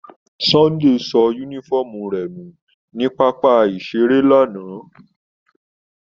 Sunday so unifọmú rẹ nu ni papa-iṣere lana.